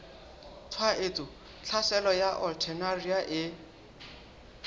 tshwaetso tlhaselo ya alternaria e